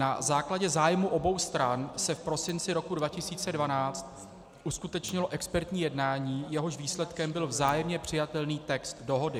Na základě zájmu obou stran se v prosinci roku 2012 uskutečnilo expertní jednání, jehož výsledkem byl vzájemně přijatelný text dohody.